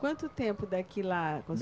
Quanto tempo daqui lá?